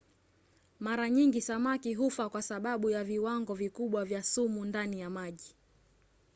mara nyingi samaki hufa kwa sababu ya viwango vikubwa vya sumu ndani ya maji